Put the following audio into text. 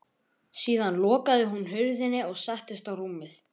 Síðan lokaði hún hurðinni og settist á rúmið.